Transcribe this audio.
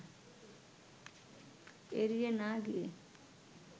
এড়িয়ে না গিয়ে